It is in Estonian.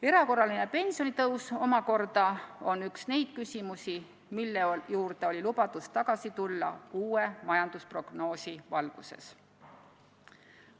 Erakorraline pensionitõus omakorda on üks neid küsimusi, mille juurde lubati tagasi tulla uue majandusprognoosi valguses.